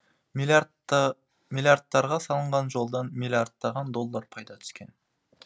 миллиардтарға салынған жолдан миллиардтаған доллар пайда түскен